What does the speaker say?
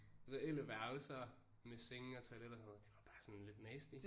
Reelle værelser med senge og toilet og sådan noget det var bare sådan lidt nasty